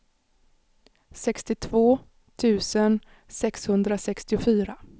sextiotvå tusen sexhundrasextiofyra